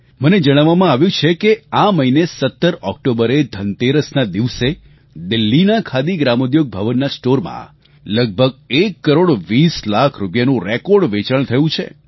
મને જણાવવામાં આવ્યું છે કે આ મહિને 17 ઓક્ટોબરે ધનતેરસનાં દિવસે દિલ્હીના ખાદી ગ્રામોદ્યોગ ભવનનાં સ્ટોરમાં લગભગ એક કરોડ વીસ લાખ રૂપિયાનું રેકોર્ડ વેચાણ થયું છે